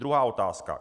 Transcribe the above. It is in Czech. Druhá otázka.